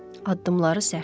Addımları sərtdir.